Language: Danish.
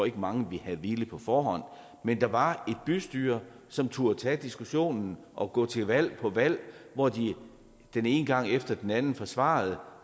ikke mange havde villet på forhånd men der var et bystyre som turde tage diskussionen og gå til valg på valg hvor de den ene gang efter den anden forsvarede